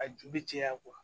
A ju bɛ caya